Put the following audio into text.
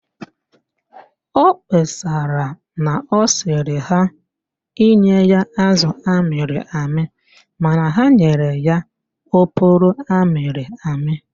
Ọ kpesara na ọ sịrị ha nye ya azụ amịrị amị mana ha nyere ya oporo amịrị amị